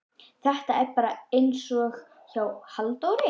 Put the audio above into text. Þetta er bara einsog hjá Halldóri